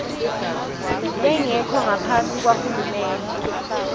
lengekho ngaphasi kwahulumende